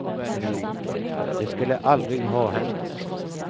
Det skulle aldrig ha hänt oss.